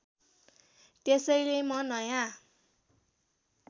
त्यसैले म नयाँ